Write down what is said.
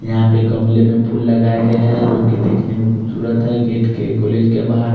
यहाँ पर गमले में फूल लगाये गये है जो की दिखने में खुबसूरत है गेट के कॉलेज के बहार--